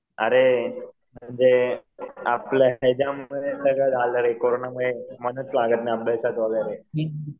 अरे जे आपलं हेच्यामुळं कोरोनामुळे मनच लागत नाही अभ्यासात वगैरे.